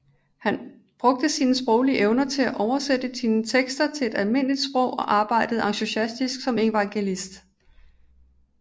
Han brugte sine sproglige evner til at oversætte sine tekster til almindeligt sprog og arbejdede entusiastisk som evangelist